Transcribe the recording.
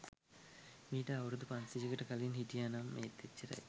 මීට අවුරුදු පන්සීයකට කලින් හිටියා නම් ඒත් එච්චරයි.